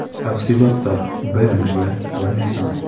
Tafsilotlar: BMW va Nissan .